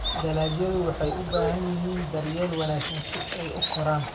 Dalagyadu waxay u baahan yihiin daryeel wanaagsan si ay u koraan.